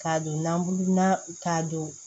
K'a don nabu na k'a don